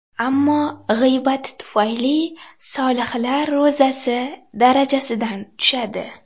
Ammo g‘iybati tufayli solihlar ro‘zasi darajasidan tushadi.